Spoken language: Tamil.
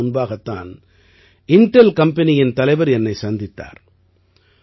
சில நாட்கள் முன்பாகத் தான் இண்டெல் கம்பெனியின் தலைவர் என்னை சந்தித்தார்